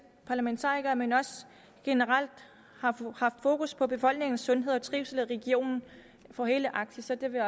parlamentarikere men også generelt har vi haft fokus på befolkningens sundhed og trivsel i regionen for hele arktis så det vil